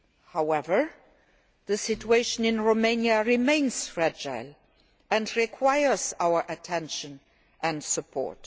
However, the situation in Romania remains fragile and requires our attention and support.